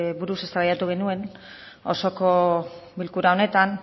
buruz eztabaidatu genuen osoko bilkura honetan